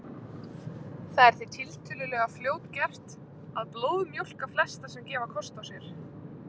Það er því tiltölulega fljótgert að blóðmjólka flesta sem gefa kost á sér.